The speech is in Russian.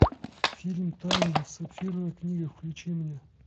фильм таймлесс сапфировая книга включи мне